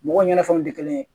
Mɔgɔw ɲɛnafɛnw tɛ kelen ye